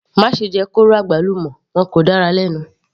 Má ṣe jẹ kóró àgbálùmọ́, wọn kò dára lẹ́nu.